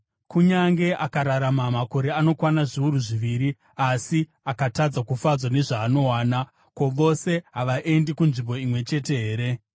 kunyange akararama makore anokwana zviuru zviviri, asi akatadza kufadzwa nezvaanowana. Ko, vose havaendi kunzvimbo imwe chete here?